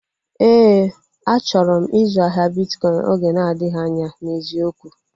Éè, achọrọ m ịzụ ahịa bitkọin oge na-adịghị anya n'eziokwu